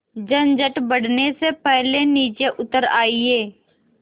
झंझट बढ़ने से पहले नीचे उतर आइए